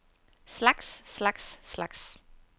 slags slags slags